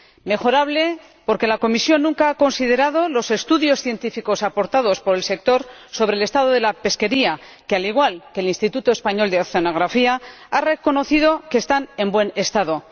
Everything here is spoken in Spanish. Mejorable, porque la Comisión nunca ha considerado los estudios científicos aportados por el sector sobre el estado de la pesquería, que, al igual que el Instituto Español de Oceanografía, ha reconocido que está en buen estado